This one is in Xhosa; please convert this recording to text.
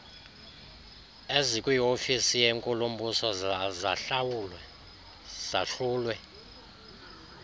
ezikwiofisi yenkulumbuso zahlulwe